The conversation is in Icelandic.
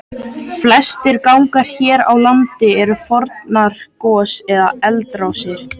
Flestir gangar hér á landi eru fornar gos- eða eldrásir.